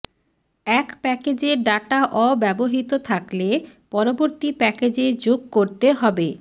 এক প্যাকেজের ডাটা অব্যবহৃত থাকলে পরবর্তী প্যাকেজে যোগ করতে হবে